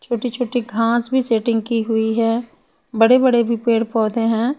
छोटी छोटी घास भी सेटिंग की हुयी है बड़े बड़े भी पेड़ पौधे है।